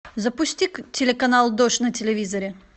запусти телеканал дождь на телевизоре